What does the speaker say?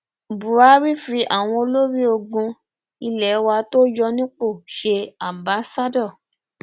buhari fi àwọn olórí ológun ilé wa tó yọ nípò ṣe aḿbaṣado